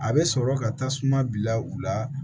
A bɛ sɔrɔ ka tasuma bila u la